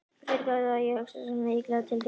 Fyrirgefðu að ég hugsa svona illa til þín.